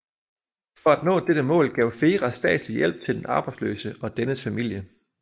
For at nå dette mål gav FERA statslig hjælp til den arbejdsløse og dennes familie